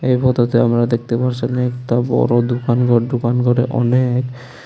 এই ফোতোতে আমরা দেখতে পারছি অনেকটা বড় দোকান ঘর দোকান ঘরে অনেক।